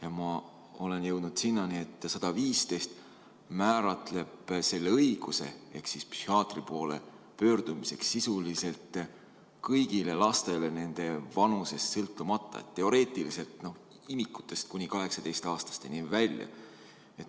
Ja ma olen jõudnud selleni, et eelnõu 115 annab psühhiaatri poole pöördumise õiguse sisuliselt kõigile lastele nende vanusest sõltumata, teoreetiliselt imikutest kuni 18-aastasteni välja.